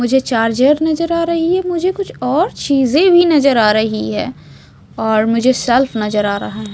मुझे चार्जर नजर आ रही है मुझे कुछ और चीजे भी नजर आ रही है और मुझे शेल्फ नजर आ रहा है।